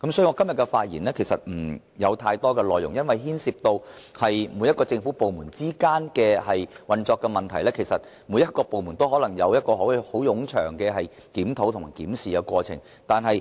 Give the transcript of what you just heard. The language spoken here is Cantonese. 我今天的發言不會有太多內容，因為牽涉政府部門之間的運作，其實每個部門都可能須進行冗長的檢討。